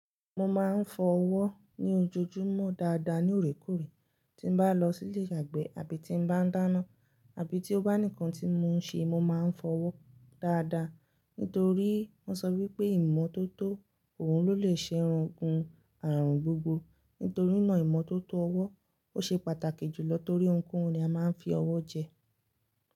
Mo máa ń fọwọ́ ni ojojúmọ́ dáadáa ní orekoore, tí bá lọ sí ilé ìyàgbẹ́ àbí tí bá ń dáná, àbí tí ó bá nìkan tí mo ń ṣe, mo máa ń fọwọ́ dáadáa. Nítorí wọ́n sọ wípé ìmọ́tótó òun ló lè ṣẹ́ ogun àrùn gbogbo. Nítorí náà ìmọ́tótó ọwọ́ ó ṣe pàtàkì jùlọ torí ohunkóhun ni a máa ń fi ọwọ́ jẹ.